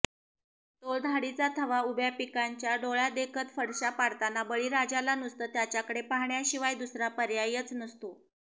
टोळधाडीचा थवा उभ्या पिकाचांडोळ्यादेखत फडशा पाडताना बळीराजाला नुसतं त्यांच्याकडं पाहण्याशिवाय दुसरा पर्यायच नसतो